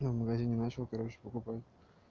я в магазине начал короче покупаю